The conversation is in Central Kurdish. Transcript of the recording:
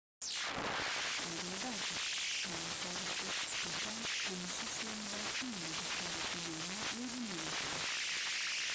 ئاگاداربە باڕی شارۆچکە بچوکەکان هەمیشە شوێنی باش نین بۆ گەشتیارێکی نامۆ لێی بمێنێتەوە